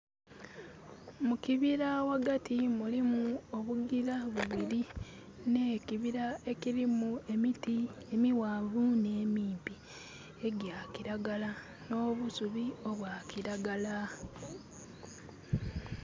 Mukibira ghagati mulimu obugila bubiri nhe kibira ekilimu emiti emighanvu nhe mimpi egya kilagala nho busubi obwa kilagala.